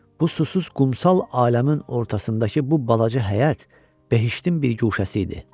Bu susuz qumsal aləmin ortasındakı bu balaca həyət behiştin bir guşəsi idi.